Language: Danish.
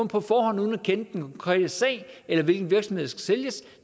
på forhånd uden at kende den konkrete sag eller hvilken virksomhed der skal sælges